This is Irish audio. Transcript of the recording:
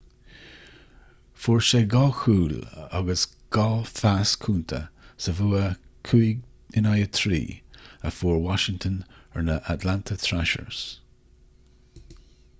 fuair sé 2 chúl agus 2 phas cúnta sa bhua 5-3 a fuair washington ar na atlanta thrashers